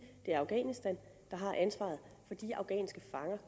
det er afghanistan der har ansvaret for de afghanske fanger